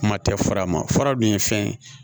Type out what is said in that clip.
Kuma tɛ fara ma fara dun ye fɛn ye